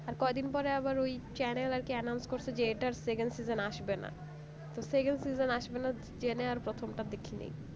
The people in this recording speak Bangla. আর কয়দিন পরে আবার ওই channel আরকি announce করছে যে এটার second season আসবেনা তো second season আসবে না জেনে আর প্রথমটা দেখি নাই